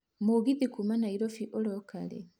mũgithi kuuma nairobi ũroka rĩ